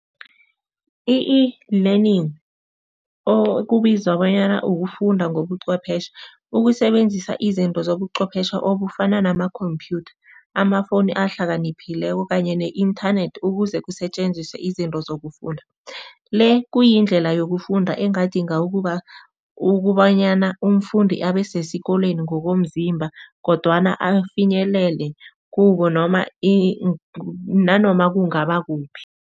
I-eLearning okubizwa bonyana ukufunda ngobucwephetjhe, ukusebenzisa izinto zobucwephetjhe obufana nama-computer, amafowuni ahlakaniphileko kanye ne-inthanethi ukuze kusetjenziswe izinto zokufunda. Le kuyindlela yokufunda engadinga ukubanyana umfundi abe sesikolweni ngokomzimba, kodwana afinyelele kubo noma nanoma kungaba kuphi.